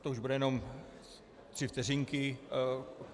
To už budou jenom tři vteřinky.